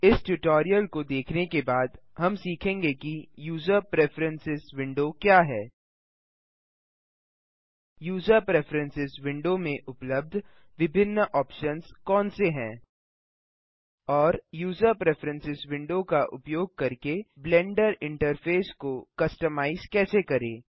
इस ट्यूटोरियल को देखने के बाद हम सीखेंगे कि यूज़र प्रिफ्रेरेंसेस विंडो क्या है यूज़र प्रिफ्रेरेंसेस विंडो में उपलब्ध विभिन्न ऑप्शन्स कौन से हैं और यूज़र प्रिफ्रेरेंसेस विंडो का उपयोग करके ब्लेंडर इंटरफ़ेस को कस्टमाइज कैसे करें